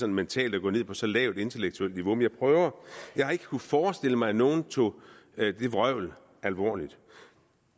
mentalt at gå ned på så lavt et intellektuelt niveau men jeg prøver jeg har ikke kunnet forestille mig at nogen tog det vrøvl alvorligt